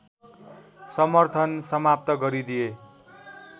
समर्थन समाप्त गरिदिए